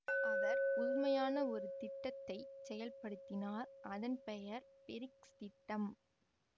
அவர் புதுமையான ஒரு திட்டத்தை செயல் படுத்தினார் அதன் பெயர் பிரிக்ஸ் திட்டம்